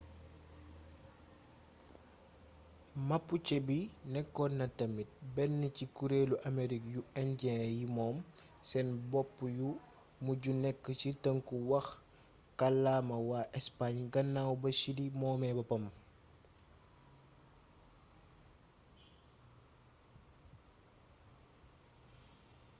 mapuche bi nekkoon na tamit benn ci kureelu amerig yu injiyen yi moom seen bopp yu mujj nekk ci tënku wax kàllama waa espaañ gannaaw ba chili moomee boppam